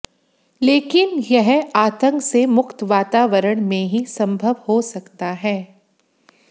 लेकिन यह आतंक से मुक्त वातावरण में ही संभव हो सकता है